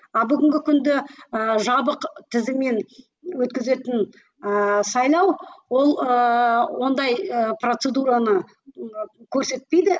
а бүгінгі күнде ыыы жабық тізіммен өткізетін ыыы сайлау ол ыыы ондай процедураны ы көрсетпейді